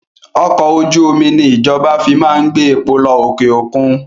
Ọkọ̀ ojú omi ni ìjọba fi máa ń gbé epo lọ òkè òkun